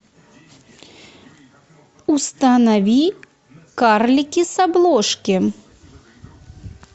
установи карлики с обложки